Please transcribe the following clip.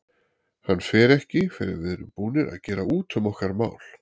Hann fer ekki fyrr en við erum búnir að gera út um okkar mál.